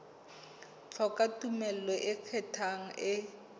hloka tumello e ikgethang e